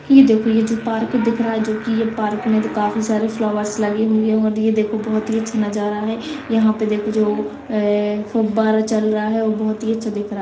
ये देखो ये जो पार्क दिख रहा है जो की ये पार्क मे काफी सारे फ्लावर्स लगी हुई है और ये देखो बोहोत ही अच्छा नजारा है यहां पे देखो जो ए ए फुब्बारा चल रहा है वो बोहोत ही अच्छा दिख रहा है।